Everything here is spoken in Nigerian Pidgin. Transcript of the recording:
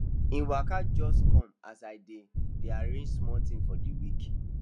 he waka come just as i dey dey arrange small things for the week